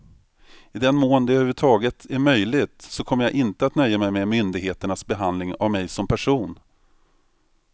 I den mån det över huvud taget är möjligt så kommer jag inte att nöja mig med myndigheternas behandling av mig som person.